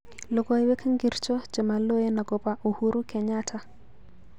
Logoywek ngircho chemaloen agoba Uhuru Kenyatta